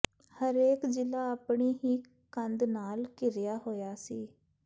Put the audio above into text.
ਹਰੇਕ ਜਿਲ੍ਹਾ ਆਪਣੀ ਹੀ ਕੰਧ ਨਾਲ ਘਿਰਿਆ ਹੋਇਆ ਸੀ